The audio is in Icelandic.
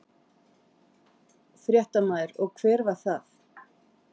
Fréttamaður: Og hver var það?